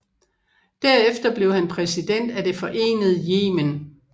Derefter blev han præsident af det forenede Yemen